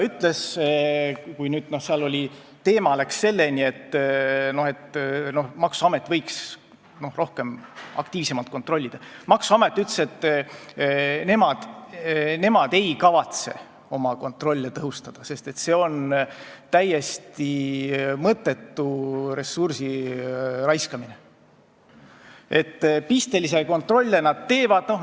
Kui jutt läks sellele, et maksuamet võiks aktiivsemalt kontrollida, siis Maksu- ja Tolliameti esindaja ütles, et nemad ei kavatse oma kontrolle tõhustada, sest see on täiesti mõttetu ressursi raiskamine, pistelisi kontrolle nad teevad.